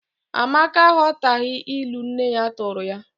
Amaka aghọtaghị ilu nne ya tụụrụ ya.